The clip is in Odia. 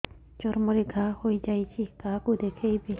ଚର୍ମ ରେ ଘା ହୋଇଯାଇଛି କାହାକୁ ଦେଖେଇବି